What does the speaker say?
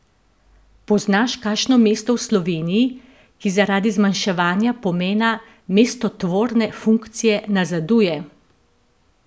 Poznaš kakšno mesto v Sloveniji, ki zaradi zmanjševanja pomena mestotvorne funkcije nazaduje?